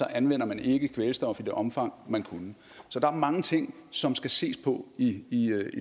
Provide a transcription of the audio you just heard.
anvender man ikke kvælstof i det omfang man kunne så der er mange ting som skal ses på i